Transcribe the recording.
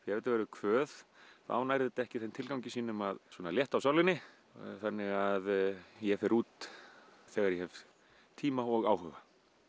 þetta verður kvöð þá nær þetta ekki þeim tilgangi sínum að létta á sálinni þannig að ég fer út þegar ég hef tíma og áhuga